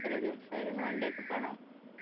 എത്ര ദിവസായിരുന്നു one day trip ആണോ